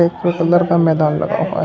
का मैदान लगा हुआ है।